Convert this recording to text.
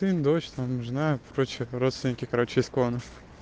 дождь нам нужно короче родственники короче из клона